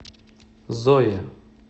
зое